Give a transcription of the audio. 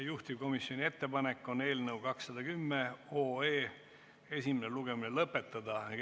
Juhtivkomisjoni ettepanek on eelnõu 210 esimene lugemine lõpetada.